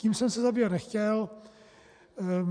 Tím jsem se zabývat nechtěl.